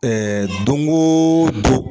Ɛɛ don o don